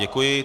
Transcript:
Děkuji.